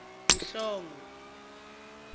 mhlongo